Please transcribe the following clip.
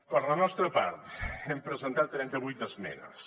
per la nostra part hem presentat trenta vuit esmenes